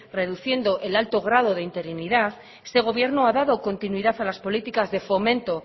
reduciendo el alto grado de interinidad este gobierno ha dado continuidad a las políticas de fomento